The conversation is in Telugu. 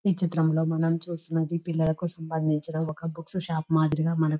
ఈ చిత్రంలో మనం చూస్తున్నది పిల్లలకు సంబంధించిన బుక్స్ షాపు మాదిరిగా --.